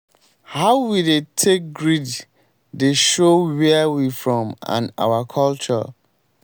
how we dey take greet dey show where we from and our culture.